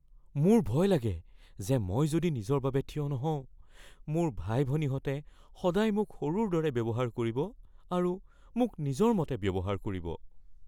মোৰ ভয় লাগে যে যদি মই নিজৰ বাবে থিয় নহওঁ, মোৰ ভাই-ভনীহঁতে সদায় মোক সৰুৰ দৰে ব্যৱহাৰ কৰিব আৰু মোক নিজৰ মতে ব্যৱহাৰ কৰিব।